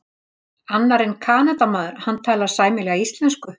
Annar er Kanadamaður, hann talar sæmilega íslensku.